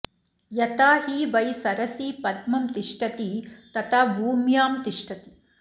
यथा हि वै सरसि पद्मं तिष्ठति तथा भूम्यां तिष्ठति